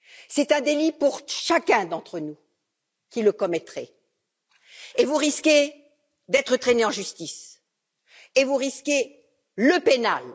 C'est un délit pour chacun d'entre nous qui le commettrait, et vous risquez d'être traîné en justice et vous risquez le pénal.